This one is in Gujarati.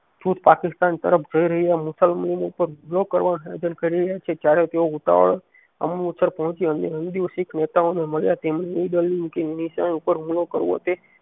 ખુદ પાકિસ્તાન તરફ જઈ રહ્યા મુસલમાનો ની ઉપર હુમલો કરવાનો કરી રહ્યા છે જયારે તેઓ ઉતાવળે અમ્મુસર પોહચી શીખ નેતાઓને મળ્યા તેમને ઈ કે મિશન ઉપર હુમલો કરવો તે